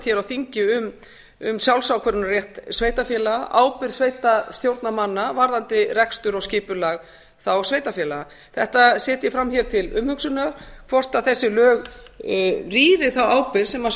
hér á þingi um sjálfsákvörðunarrétt sveitarfélaga ábyrgð sveitarstjórnarmanna varðandi rekstur og skipulag þá sveitarfélaga þetta set ég fram hér til umhugsunar hvort þessi lög rýri þá ábyrgð sem